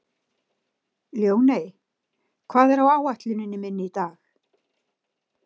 Ljóney, hvað er á áætluninni minni í dag?